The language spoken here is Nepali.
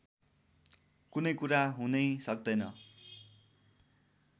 कुनै कुरा हुनै सक्दैन